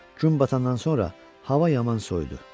Gün batandan sonra hava yaman soyudu.